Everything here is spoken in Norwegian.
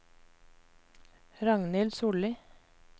Ragnhild Solli